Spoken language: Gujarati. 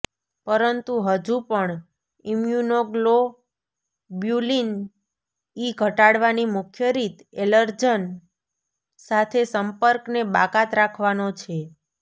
પરંતુ હજુ પણ ઇમ્યુનોગ્લોબ્યુલિન ઇ ઘટાડવાની મુખ્ય રીત એલર્જન સાથે સંપર્કને બાકાત રાખવાનો છે